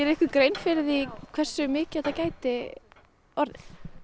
ykkur grein fyrir því hversu mikið þetta gæti orðið